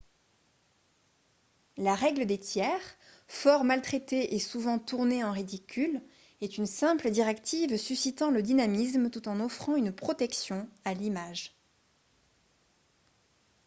la règle des tiers fort maltraitée et souvent tournée en ridicule est une simple directive suscitant le dynamisme tout en offrant une protection à l'image